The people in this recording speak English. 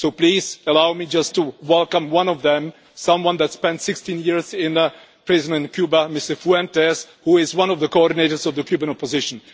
So please, allow me just to welcome one of them, someone who spent 16 years in prison in Cuba, Mr Fuentes, who is one of the coordinators of the Cuban opposition.